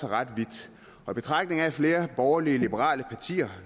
ret vidt flere borgerlige liberale partier